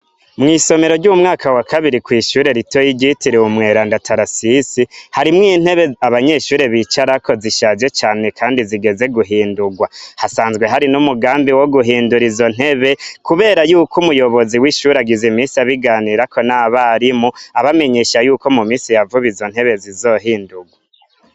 Mwisomero ryo mu mwaka wa kabiri kwishure ritoya ryitiriwe umweranda tarasise, harimwo intebe abanyeshure bicarako zishaje cane kandi zigeze guhindurwa, hasanzwe hari n'umugambi wo guhindura izo ntebe kubera yuko umuyobozi wishure agize iminsi abiganirako n'abarimu, abamenyesha ko mu minsi ya vuba izo ntebe zizohindurwa.